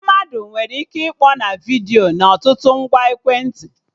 Mmadụ nwere ike ịkpọ na vidiyo na ọtụtụ ngwa ekwentị